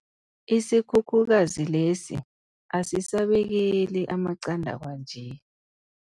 Isikhukhukazi lesi asisabekeli amaqanda kwanje.